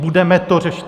Budeme to řešit?